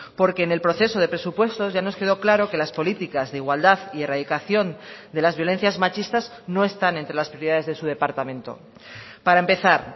porque en el proceso de presupuestos ya nos quedó claro que las políticas de igualdad y erradicación de las violencias machistas no están entre las prioridades de su departamento para empezar